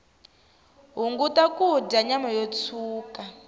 hunguta kudya nyama yo tshuka